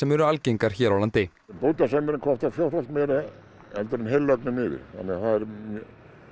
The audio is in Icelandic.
eru algengar hér á landi bútasaumurinn kostar fjórfalt meira heldur en heillögnin yfir þannig að það er